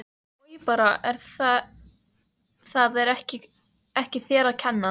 Oj bara en það er ekki þér að kenna